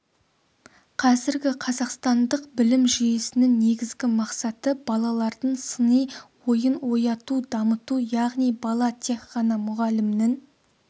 қазіргі қазақстандық білім жүйесінің негізгі мақсаты балалардың сыни ойын ояту дамыту яғни бала тек ғана мұғалімнің